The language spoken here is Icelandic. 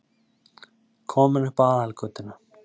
Kominn upp á aðalgötuna.